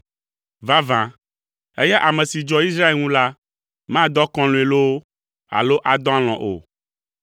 Vavã, eya ame si dzɔa Israel ŋu la, madɔ akɔlɔ̃e loo, alo adɔ alɔ̃ o.